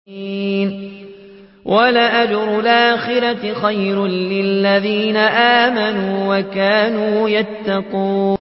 وَلَأَجْرُ الْآخِرَةِ خَيْرٌ لِّلَّذِينَ آمَنُوا وَكَانُوا يَتَّقُونَ